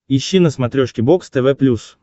ищи на смотрешке бокс тв плюс